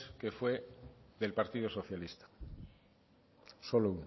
que fue del partido socialista solo